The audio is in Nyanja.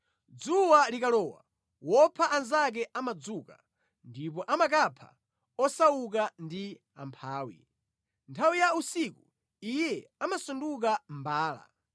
Dzuwa likalowa, wopha anzake amadzuka ndipo amakapha osauka ndi amphawi; nthawi ya usiku iye amasanduka mbala.